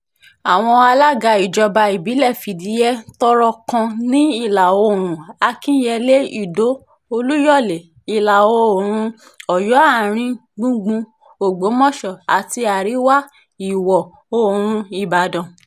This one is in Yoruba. àwọn alága ìjọba ìbílẹ̀ fìdí-he tọ́rọ̀ kan ní ìlà-oòrùn akínyẹlé ìdó olúyọ̀lé ìlà-oòrùn ọ̀yọ́ àárín-gbùngbùn ògbómọṣọ àti àríwá-ìwọ̀-oòrùn ìbàdàn